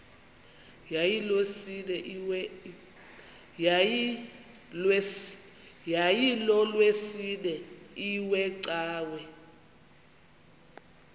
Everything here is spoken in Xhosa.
yayilolwesine iwe cawa